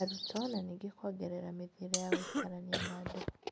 Arutwo, na ningĩ kwongerera mĩthiĩre ya gũikarania na andũ.